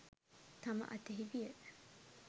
තම අතෙහි විය.